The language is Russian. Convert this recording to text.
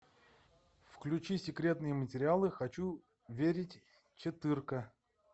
включи секретные материалы хочу верить четырка